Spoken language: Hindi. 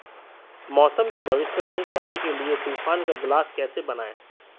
मौसम की भविष्यवाणी करने के लिए तूफान का ग्लास कैसे बनाएं